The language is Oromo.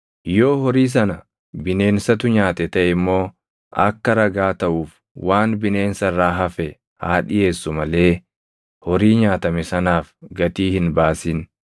Yoo horii sana bineensatu nyaate taʼe immoo akka ragaa taʼuuf waan bineensa irraa hafe haa dhiʼeessu malee horii nyaatame sanaaf gatii hin baasin.